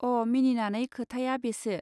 अ: मिनिनानै खोथाया बेसो.